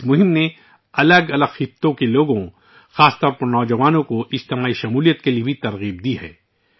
اس مہم نے زندگی کے مختلف شعبوں سے تعلق رکھنے والے لوگوں ، خصوصاً نوجوانوں کو اجتماعی شرکت کی ترغیب دی ہے